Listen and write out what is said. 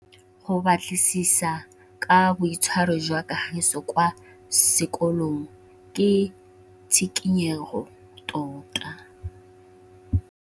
Go batlisisa ka boitshwaro jwa Kagiso kwa sekolong ke tshikinyêgô tota.